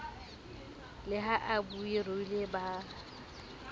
le ha ba ruile ba